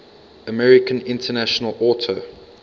american international auto